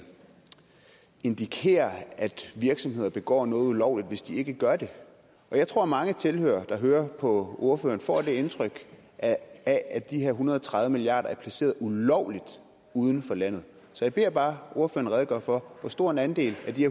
indikerer at virksomheder begår noget ulovligt hvis de ikke gør det og jeg tror at mange tilhørere der hører på ordføreren får det indtryk at at de her en hundrede og tredive milliarder er placeret ulovligt uden for landet så jeg beder bare ordføreren redegøre for hvor stor en andel af de